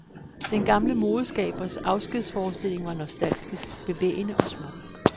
Den gamle modeskabers afskedsforestilling var nostalgisk, bevægende og smuk.